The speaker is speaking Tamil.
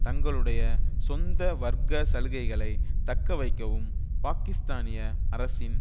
தங்களுடைய சொந்த வர்க்க சலுகைகளை தக்க வைக்கவும் பாக்கிஸ்தானிய அரசின்